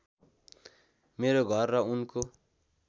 मेरो घर र उनको